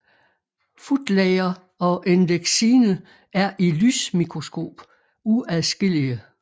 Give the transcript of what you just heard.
Footlayer og endexine er i lysmikroskop uadskillige